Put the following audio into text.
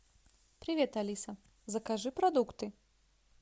привет алиса закажи продукты